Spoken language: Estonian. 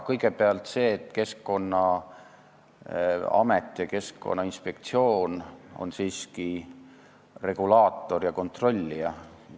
Kõigepealt see, et Keskkonnaamet ja Keskkonnainspektsioon on siiski regulaator ja kontrollija.